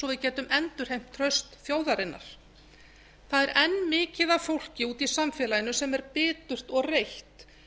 við getum endurheimt traust þjóðarinnar það er enn mikið af fólki úti í samfélaginu sem er birtast og reitt